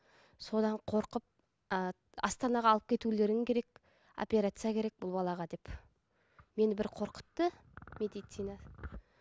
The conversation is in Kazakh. содан қорқып ы астанаға алып кетулерің керек операция керек бұл балаға деп мені бір қорқытты медицина